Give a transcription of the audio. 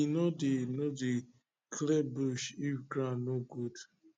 we no dey no dey clear bush if ground no good